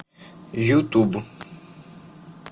ютуб